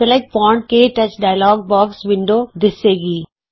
select font ਕੇ touch dialog box window ਦਿੱਸੇ ਗੀ